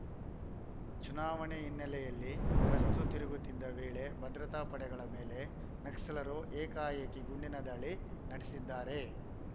ಚುನಾವಣೆ ಹಿನ್ನೆಲೆಯಲ್ಲಿ ಗಸ್ತು ತಿರುಗುತ್ತಿದ್ದ ವೇಳೆ ಭದ್ರತಾ ಪಡೆಗಳ ಮೇಲೆ ನಕ್ಸಲರು ಏಕಾಏಕಿ ಗುಂಡಿನ ದಾಳಿ ನಡೆಸಿದ್ದಾರೆ